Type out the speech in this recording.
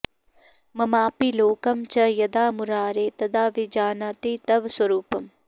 ममापि लोकं च यदा मुरारे तदा विजानाति तव स्वरूपम्